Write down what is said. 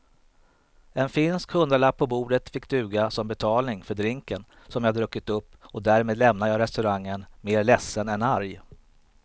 En finsk hundralapp på bordet fick duga som betalning för drinken som jag druckit upp och därmed lämnade jag restaurangen mer ledsen än arg.